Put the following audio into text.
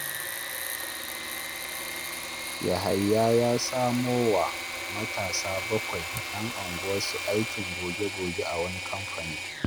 Yahaya ya samo wa matasa bakwai 'yan unguwarsu aikin goge-goge a wani kamfani